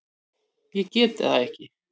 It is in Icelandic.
Ég get það ekki!